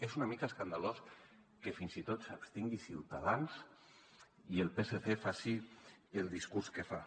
és una mica escandalós que fins i tot s’abstingui ciutadans i el psc faci el discurs que fa